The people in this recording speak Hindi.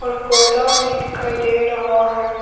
पौधा भी दिखाई दे रहा है।